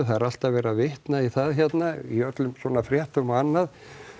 það er alltaf verið að vitna í það í öllum svona fréttum og annað